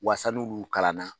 Wasa n'olu kalan na